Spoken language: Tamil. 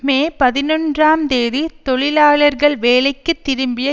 மே பதினொன்றாம் தேதி தொழிலாளர்கள் வேலைக்கு திரும்பிய